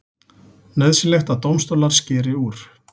Nauðsynlegt að dómstólar skeri úr